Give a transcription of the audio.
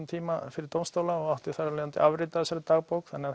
tíma fyrir dómsstóla og átti þar af leiðandi afrit af þessari dagbók þannig